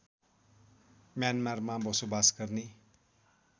म्यानमारमा बसोबास गर्ने